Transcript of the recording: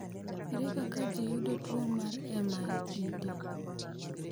Ere kaka ji yudo tuwo mar MIDD?